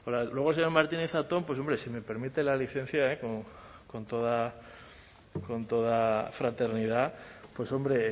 porque luego el señor martínez zatón pues hombre si me permiten la licencia con toda fraternidad pues hombre